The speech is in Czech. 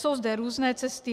Jsou zde různé cesty.